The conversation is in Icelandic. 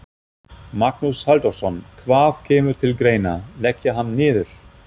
Magnús Halldórsson: Hvað kemur til greina, leggja hann niður?